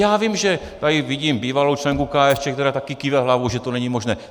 Já vím, že - tady vidím bývalou členku KSČ, která taky kýve hlavou, že to není možné.